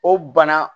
O bana